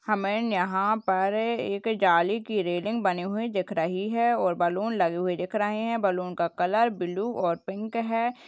हमें यहाँ पर एक जाली की रेलिंग बनी हुई दिख रही है और बलून लगे हुए दिख रहे हैं| बलून का कलर ब्लू और पिंक है।